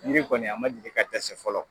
Ne kɔni a ma deli ka dɛsɛ fɔlɔ